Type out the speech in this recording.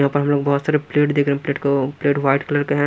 यहाँ पर हम लोग बहुत सारे प्लेट देख रहे हैं प्लेट को प्लेट वाइट कलर के हैं।